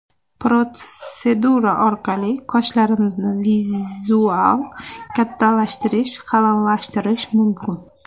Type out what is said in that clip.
Protsedura orqali qoshlarimizni vizual kattalashtirish, qalinlashtirish mumkin.